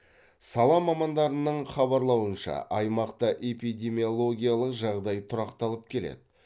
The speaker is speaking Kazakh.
сала мамандарының хабарлауынша аймақта эпидемиологиялық жағдай тұрақталып келеді